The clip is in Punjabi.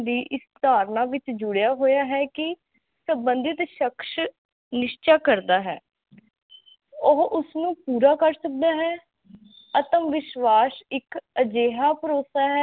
ਧਰਨਾ ਵਿਚ ਜੁੜਿਆ ਹੋਇਆ ਹੇ ਕੀ ਸੰਬਧਿਤ ਸ਼ਖਸ ਨਿਹਚਾ ਕਰਦਾ ਹੇ ਉਹ ਉਸਨੂੰ ਪੂਰਾ ਕਰ ਸਕਦਾ ਹੇ ਆਤਮਵਿਸ਼ਵਾਸ ਇਕ ਅਜਿਹਾ ਭਰੋਸਾ ਹੇ